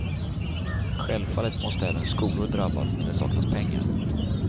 Självfallet måste även skolor drabbas när det saknas pengar.